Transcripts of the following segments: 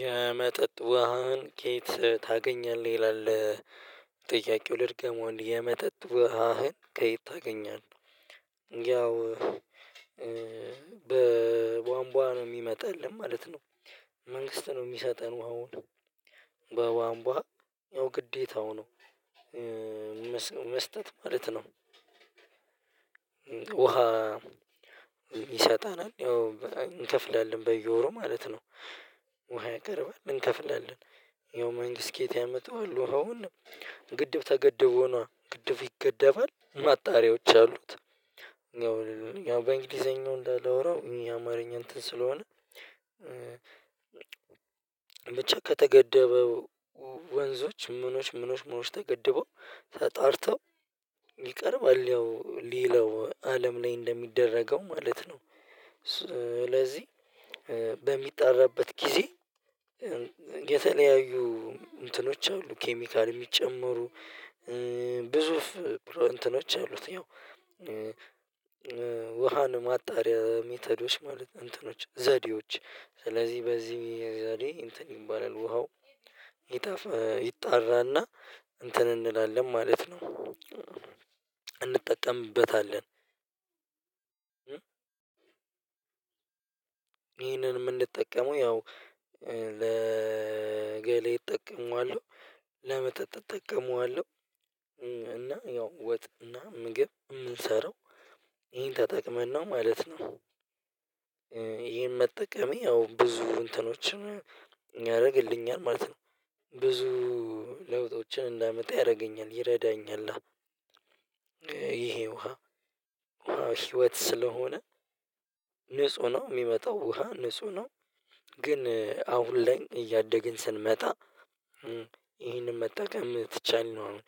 የመጠጥ ውሃን ኬት ታገኛለህ ይላል? ጥያቄው ልድገመው አንዴ የመጠጥ ውሃህን ከየት ታገኛለህ? ያው በቧንቧ ነው ሚመጣልን ማለት ነው። መንግስት ነው ሚሰጠን ውሃውን። በቧንቧ ያው ግዴታው ነው። መስጠት ማለት ነው። ውሃ ይሰጠናል ያው እንከፍላለን በየወሩ ማለት ነው። ውሃ ያቀርባል እንከፍላለን ያው መንግስት ከየት ያመጣዋል ውሃውን? ግድብ ተገድቦ ነዋ ግድብ ይገደባል ማጣሪያዎች አሉት። ያው በእንግሊዘኛው እንዳላወራው የአማርኛ እንትን ስለሆነ። ብቻ ከተገደበው ወንዞች ምኖች ምኖች ምኖች ተገድበው ተጣርተው ይቀርባል ያው ሌላው አለም ላይ እንደሚደረገው ማለት ነው። ስለዚህ በሚጠራበት ጊዜ የተለያዩ እንትኖች አሉ ኬሚካል እሚጨመሩ። ግዙፍ እንትኖች አሉት ያው። ውሃን ማጣሪያ ሜተዶች ማለት እንትኖች ዘዴዎች ስለዚህ በዚህ ዘዴ እንትን ይባላል ውሃው ይጣፍ ይጣራና እንትን እንላለን ማለት ነው። እንጠቀምበታለን። ይሄንን እምንጠቀመው ያው ለገላዬ እጠቀመዋለው። ለመጠጥ እጠቀመዋለው። እና ያው ወጥ እና ምግብ እምንሰራው ይሄን ተጠቅመን ነው ማለት ነው። ይሄን መጠቀሜ ያው ብዙ እንትኖችን ያረግልኛል ማለት ነው። ብዙ ለውጦችን እንዳመጣ ያረገኛል ይረዳኛላ። ይሄ ውሃ ህይወት ስለሆነ ንጹህ ነው እሚመጣው ውሃ ንጹህ ነው። ግን አሁን ላይ እያደግን ስንመጣ። ይሄንን መጠቀም ትቻለው አሁን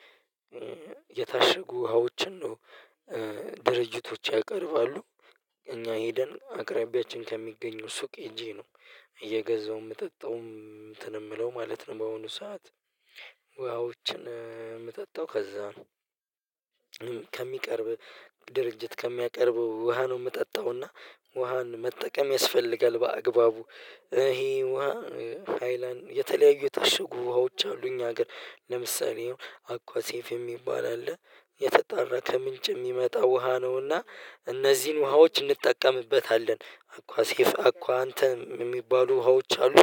የታሸጉ ውሃዎችን ነው ድርጅቶች ያቀርባሉ። እኛ ሄደን አቅራቢያችን ከሚገኘው ሱቅ ሄጄ ነው እየገዛሁ እምጠጣው እንትን እምለው ማለት ነው በሆኑ ሰዓት ውሃዎችን እምጠጣው ከዛ ነው። ከሚቀርብህ ድርጅት ከሚያቀርበው ውሃ ነው እምጠጣው። እና ውሃን መጠቀም ያስፈልጋል በአግባቡ። ይሄ ውሃ ሃይላን የተለያዩ የታሽጉ ውሃዎች አሉ እኛ ሀገር ለምሳሌ አኳሴፍ የሚባል አለ። የተጣራ ከምንጭ የሚመጣ ውሃ ነውና እነዚህን ውሃዎች እንጠቀምበታለን አኳሴፍ አኳአንተም እሚባሉ ሀዎች አሉ።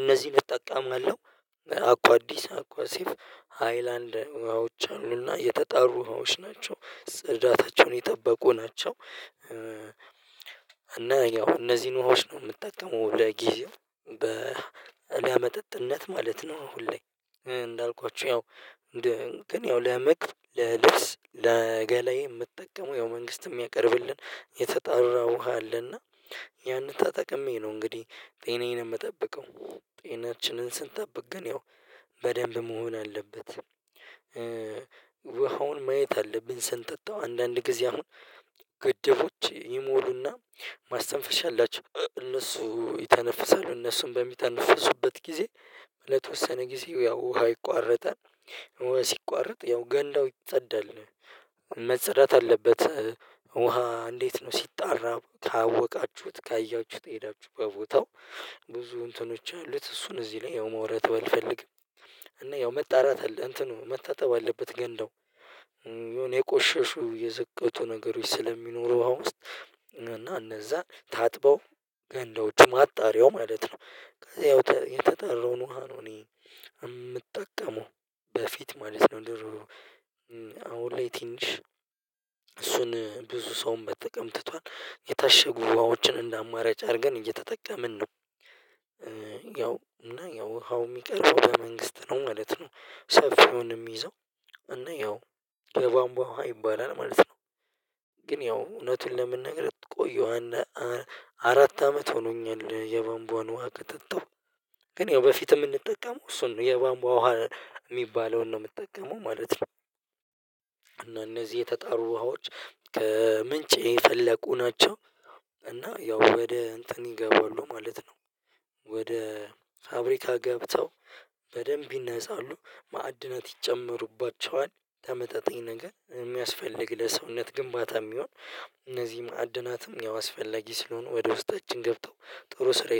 እነዚህን እጠቀማለሁ አኳአዲስ አኳሴፍ ሃይላንድ ውሃዎች አሉና የተጣሩ ውሃዎች ናቸው ጽዳታቸውን የጠበቁ ናቸው። እና ያው እነዚህን ውሃዎች ነው እምጠቀመው ለጊዜው ለመጠጥነት ማለት ነው። አሁን ላይ እንዳልኳችሁ ያው ግን ያው ለምግብ ለልብስ ለገላዬ እምጠቀመው ያው መንግስት እሚያቀርብልን የተጣራ ውሃ አለና። ያንን ተጠቅሜ ነው እንግዲህ ጤናዬን እምጠብቀው ጤናችንን ስንጠብቅ ግን ያው በደንብ መሆን አለበት። ውሃውን ማየት አለብን። ስንጠጣው አንዳንድ ጊዜ አሁን ግድቦች ይሞሉና ማስተንፈሻ አላቸው። እነሱ ይተነፍሳሉ እነሱ በሚተነፍሱበት ጊዜ ለተወሰነ ጊዜው ያው ውሃ ይቋረጣል። ውሃ ሲቋረጥ ያው ገንዳው ይጸዳል። መጸዳት አለበት። ውሃ እንዴት? ነው ሲጣራ ካወቃችሁት ካያችሁት ሄዳችሁ በቦታው ብዙ እንትኖች አሉት። እሱን እዚህ ላይ ያው ማውራት ባልፈልግም እና ያው መጣራት አለ እንትኑ መታጠብ አለበት። ገንዳው የሆነ የቆሸሹ የዘቀጡ ነገሮች ስለሚኖሩ ውሃ ውስጥ እና እነዛ ታጥበው ገንዳዎቹ ማጣሪያው ማለት ነው። ያው የተጣራውን ውሃ ነው እኔ እምጠቀመው። በፊት ማለት ነው። ድሮ ላይ ትንሽ እሱን ብዙ ሰውም መጠቀም ትቷል። የታሸጉ ውሃዎችን እንደ አማራጭ አርገን እየተጠቀምን ነው። ያው እና ያው ውሃው እሚቀርበው በመንግስት ነው ማለት ነው። ሰፊውንም እሚይዘው እና ያው የባንቧ ውሃ ይባላል ማለት ነው። ግን ያው እውነቱን ለመናገር ቆየሁ አንድ አራት አመት ሆኖኛል የባንቧን ውሃ ከጠጣው። ግን ያው በፊት እምንጠቀመው እሱን ነው የባምቧ ውሃ እሚባለውን ነው እምጠቀመው ማለት ነው። እነዚህ የተጣሩ ውሃዎች ከምንጭ የፈለቁ ናቸው። እና ያው ወደ እንትን ይገባሉ ማለት ነው። ወደ ፋብሪካ ገብተው በደንብ ይነፃሉ። ማዕድናት ይጨመሩባቸዋል። ተመጣጣኝ ነገር እሚያስፈልግ ለሰውነት ግንባታ እሚሆን እነዚህም ማዕድናትም ያው አስፈላጊ ስለሆኑ ወደ ውስጣችን ገብተው ጥሩ ስራ